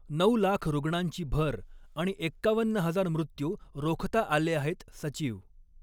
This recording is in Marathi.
नऊ लाख रुग्णांची भर आणि एक्कावन्न हजार मृत्यू रोखता आले आहेत सचिव